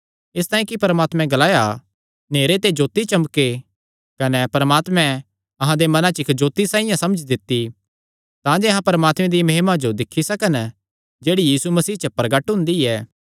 इसतांई कि परमात्मे ग्लाया नेहरे ते जोत्ती चमके कने परमात्मे अहां दे मनां च इक्क जोत्ती साइआं समझ दित्ती तांजे अहां परमात्मे दिया महिमा जो दिक्खी सकन जेह्ड़ी यीशु मसीह च प्रगट हुंदी ऐ